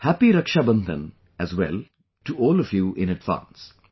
Happy Raksha Bandhan as well to all of you in advance